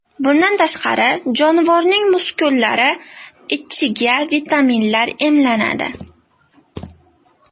Bundan tashqari, jonivorning muskullari ichiga vitaminlar emlanadi.